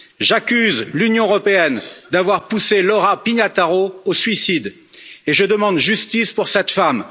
J'accuse l'Union européenne d'avoir poussé Laura Pignataro au suicide et je demande justice pour cette femme.